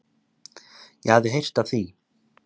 Ég hafði heyrt af því.